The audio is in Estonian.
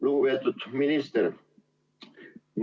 Lugupeetud minister!